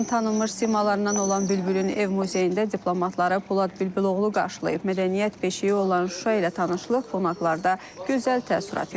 Şuşanın tanınmış simalarından olan Bülbülün ev muzeyində diplomatları Polad Bülbüloğlu qarşılayıb, mədəniyyət beşiyi olan Şuşa ilə tanışlıq qonaqlarda gözəl təəssürat yaradıb.